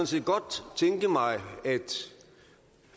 set godt tænke mig at